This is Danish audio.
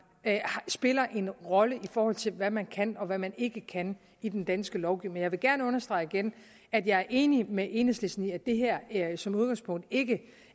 spiller en rolle i forhold til hvad man kan og hvad man ikke kan i den danske lovgivning men jeg vil gerne understrege igen at jeg er enig med enhedslisten i at det her her som udgangspunkt ikke